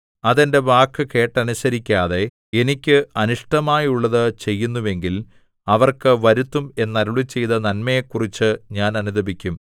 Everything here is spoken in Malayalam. അത് എന്റെ വാക്കു കേട്ടനുസരിക്കാതെ എനിക്ക് അനിഷ്ടമായുള്ളതു ചെയ്യുന്നുവെങ്കിൽ അവർക്ക് വരുത്തും എന്നരുളിച്ചെയ്ത നന്മയെക്കുറിച്ചു ഞാൻ അനുതപിക്കും